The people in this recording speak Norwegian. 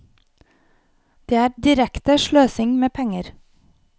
Det er direkte sløsing med penger.